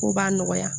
Ko b'a nɔgɔya